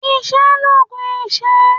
Iṣẹ́ l'oògùn ìṣẹ́.